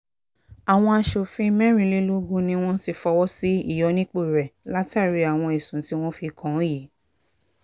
àwọn aṣòfin mẹ́rìnlélógún ni wọ́n ti fọwọ́ sí ìyọnipọ̀ rẹ̀ látàrí àwọn ẹ̀sùn tí wọ́n fi kàn án yìí